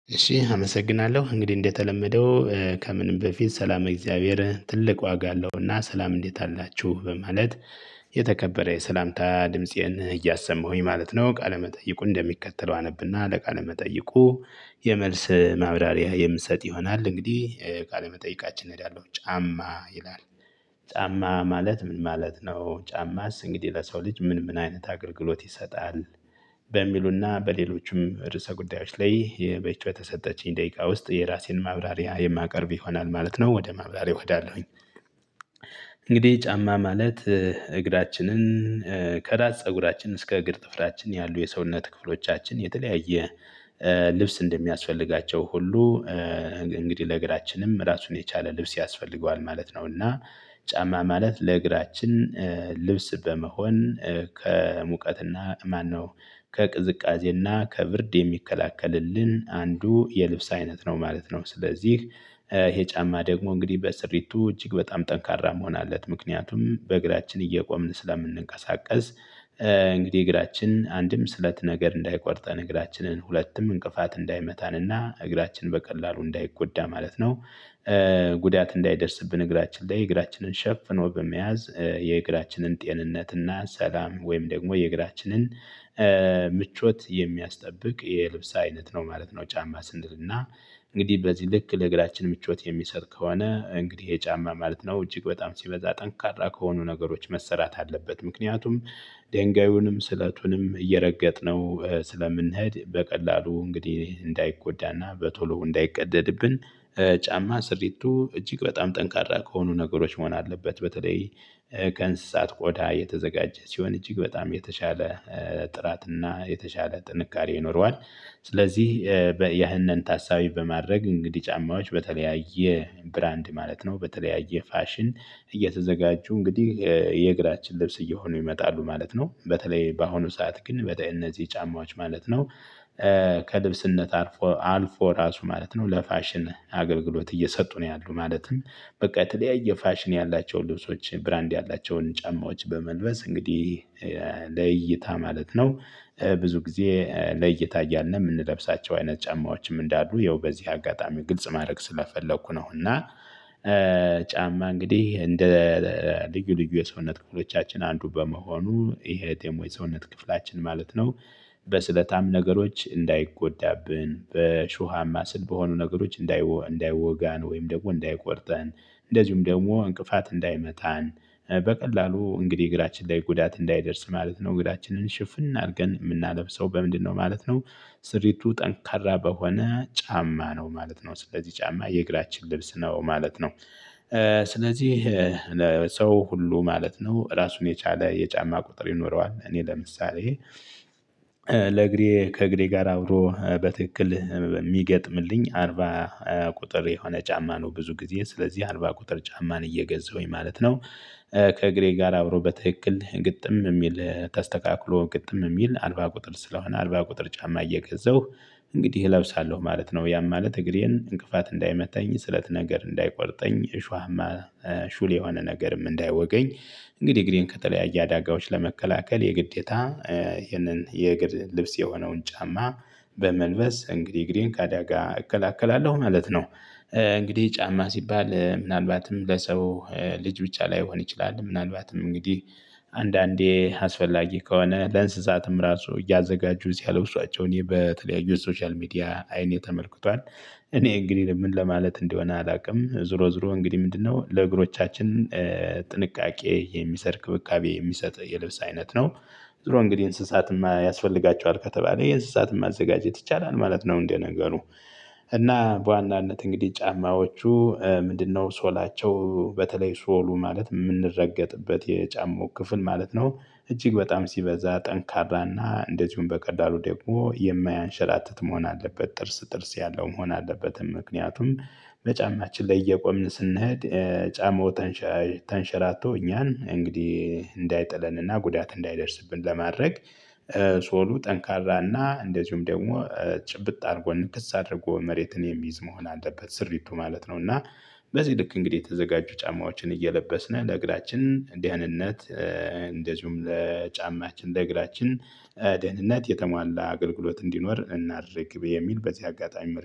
እሺ አመሰግናለሁ እንግዲህ እንደተለመደው ከምንም በፊት ሰላመ እግዚአብሔር ትልቅ ዋጋ አለውና ሰላም እንዴት አላችሁ በማለት የተከበረ የሰላምታ ድምፄን እያሰማሁኝ ማለት ነው ቃለመጠይቁነ እንደሚከተለው አነብና ለቃለመጠይቁ የመልስ ማብራሪያ የምትሰጥ ይሆናል። እንግዲህ ቃለመጠየቃችን እሄዳለሁ ጫማ ይላል? ጫማ ማለት ምን ማለት ነው ጫማስ እንግዲህ ለሰው ልጅ ምን ምን አይነት አገልግሎት ይሰጣል? በሚሉና በሌሎችም ርዕሰ ጉዳዮች ላይ በይቺ በተሰጠችኝ ደቂቃ ውስጥ የራሴን ማብራሪያ የማቀርብ ይሆናል ማለት ነው። ወደ ማብራሪያው ሄዳለሁኝ። እንግዲህ ጫማ ማለት እግራችንን ከራስ ፀጉራችን እስከ እግር ጥፍራችን ያሉ የሰውነት ክፍሎቻችን የተለያየ ልብስ እንደሚያስፈልጋቸው ሁሉ እንግዲህ ለእግራችንም ራሱን የቻለ ልብስ ያስፈልገዋል ማለት ነው። እና ጫማ ማለት ለእግራችን ልብስ በመሆን ከሙቀትና ማነው ከቅዝቃዜና ከብርድ የሚከላከልልን አንዱ የልብስ አይነት ነው ማለት ነው። ስለዚህ ይሄ ጫማ ደግሞ እንግዲህ በስሪቱ እጅግ በጣም ጠንካራ መሆነ አለት ምክንያቱም በእግራችን እየቆምን ስለምንንቀሳቀስ። እንግዲህ እግራችን አንድም ስለት ነገር እንዳይቆርጠን እግራችንን ሁለቱም እንቅፋት እንዳይመታንና እግራችን በቀላሉ እንዳይጎዳ ማለት ነው። ጉዳት እንዳይደርስብን እግራችን ላይ እግራችንን ሸፍኖ በመያዝ የእግራችንን ጤንነትና ሰላም ወይም ደግሞ የእግራችንን ምቾት የሚያስጠብቅ የልብስ አይነት ነው ማለት ነው። ጫማ ስንል እና እንግዲህ በዚህ ልክ ለእግራችን ምቾት የሚሰጥ ከሆነ እንግዲህ ይሄ ጫማ ማለት ነው። እጅግ በጣም ሲበዛ ጠንካራ ከሆኑ ነገሮች መሰራት አለበት ምክንያቱም ደንጋዩንም ስለቱንም እየረገጥነው ስለምንሄድ በቀላሉ እንግዲህ እንዳይጎዳና በቶሎ እንዳይቀደድብን ጫማ ስሪቱ እጅግ በጣም ጠንካራ ከሆኑ ነገሮች መሆን አለበት። በተለይ ከእንስሳት ቆዳ የተዘጋጀ ሲሆን እጅግ በጣም የተሻለ ጥራትና የተሻለ ጥንካሬ ይኖረዋል። ስለዚህ ያህንን ታሳቢ በማድረግ እንግዲህ ጫማዎች በተለያየ ብራንድ ማለት ነው በተለያየ ፋሽን እየተዘጋጁ እንግዲህ የእግራችን ልብስ እየሆኑ ይመጣሉ ማለት ነው። በተለይ በአሁኑ ሰዓት ግን ወደ እነዚህ ጫማዎች ማለት ነው ከልብስነት አልፎ አልፎ ራሱ ማለት ነው ለፋሽን አገልግሎት እየሰጡ ነው ያሉት። ማለትም በቃ የተለያየ ፋሽን ያላቸው ልብሶች ብራንድ ያላቸውን ጫማዎች በመልበስ እንግዲህ ለእይታ ማለት ነው ብዙ ጊዜ ለእይታ እያልን የምንለብሳቸው አይነት ጫማዎችም እንዳሉ ያው በዚህ አጋጣሚ ግልጽ ማድረግ ስለፈለኩ ነው። እና ጫማ እንግዲህ እንደ ልዩ ልዩ የሰውነት ክፍሎቻችን አንዱ በመሆኑ ይሄ ደሞ የሰውነት ክፍላችን ማለት ነው። በስለታም ነገሮች እንዳይጎዳብን በእሾሃማ ስል በሆኑ ነገሮች እንዳይወጋን ወይም ደግሞ እንዳይቆርጠን እንደዚሁም ደግሞ እንቅፋት እንዳይመታን በቀላሉ እንግዲህ እግራችን ላይ ጉዳት እንዳይደርስ ማለት ነው። እግራችንን ሽፍን አድርገን የምናለብሰው በምንድነው ማለት ነው? ስሪቱ ጠንካራ በሆነ ጫማ ነው ማለት ነው ስለዚህ ጫማ የእግራችን ልብስ ነው ማለት ነው። ስለዚህ ለሰው ሁሉ ማለት ነው ራሱን የቻለ የጫማ ቁጥር ይኖረዋል። እኔ ለምሳሌ ለእግሬ ከእግሬ ጋር አብሮ በትክክል የሚገጥምልኝ አርባ ቁጥር የሆነ ጫማ ነው ብዙ ጊዜ ስለዚህ አርባ ቁጥር ጫማን እየገዛሁኝ ማለት ነው። ከእግሬ ጋር አብሮ በትክክል ግጥም የሚል ተስተካክሎ ግጥም የሚል አርባ ቁጥር ስለሆነ አርባ ቁጥር ጫማ እየገዛሁ እንግዲህ እለብሳለሁ ማለት ነው። ያም ማለት እግሬን እንቅፋት እንዳይመታኝ ስለት ነገር እንዳይቆርጠኝ እሾሃማ ሹል የሆነ ነገርም እንዳይወጋኝ። እንግዲህ እግሬን ከተለያየ አዳጋዎች ለመከላከል የግዴታ ይህንን የእግር ልብስ የሆነውን ጫማ በመልበስ እንግዲህ እግሬን ከአዳጋ እከላከላለሁ ማለት ነው። እንግዲህ ጫማ ሲባል ምናልባትም ለሰው ልጅ ብቻ ላይሆን ይችላል ምናልባትም እንግዲህ አንዳንዴ አስፈላጊ ከሆነ ለእንስሳትም ራሱ እያዘጋጁ ሲያለብሷቸው እኔ በተለያዩ የሶሻል ሚዲያ አይኔ ተመልክቷል። እኔ እንግዲህ ምን ለማለት እንደሆነ አላውቅም ዞሮ ዞሮ እንግዲህ ምንድነው ለእግሮቻችን ጥንቃቄ የሚሰጥ ክብካቤ የሚሰጥ የልብስ አይነት ነው። ዞሮ እንግዲህ እንስሳትም ያስፈልጋቸዋል ከተባለ የእንስሳትም ማዘጋጀት ይቻላል ማለት ነው። እንደነገሩ እና በዋናነት እንግዲህ ጫማዎቹ ምንድነው ሶላቸው በተለይ ሶሉ ማለት የምንረገጥበት የጫማው ክፍል ማለት ነው። እጅግ በጣም ሲበዛ ጠንካራና እንደዚሁም በቀላሉ ደግሞ የማያንሸራትት መሆን አለበት ጥርስ ጥርስ ያለው መሆን አለበትም። ምክንያቱም በጫማችን ላይ እየቆምን ስንሄድ ጫማው ተንሸራቶ እኛን እንግዲህ እንዳይጥለንና ጉዳት እንዳይደርስብን ለማድረግ። ሶሉ ጠንካራና እንደዚሁም ደግሞ ጭብጥ አድርጎ ንክስ አድርጎ መሬትን የሚይዝ መሆን አለበት ስሪቱ ማለት ነው። እና በዚህ ልክ እንግዲህ የተዘጋጁ ጫማዎችን እየለበስን ለእግራችን ደህንነት እንደዚሁም ለጫማችን ለእግራችን ደህንነት የተሟላ አገልግሎት እንዲኖር እናድርግ የሚል በዚህ አጋጣሚ